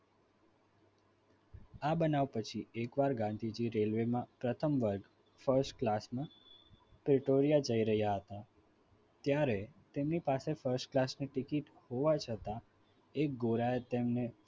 આ બનાવ પછી એકવાર ગાંધીજી railway માં પ્રથમ વર્ગ first class વિક્ટોરિયા જઈ રહ્યા હતા ત્યારે તેમની પાસે first class ની ticket હોવા છતાં એ ઘોરાય તેમણે